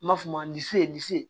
N b'a f'o ma